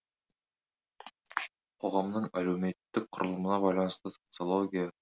қоғамның әлеуметтік құрылымына байланысты социология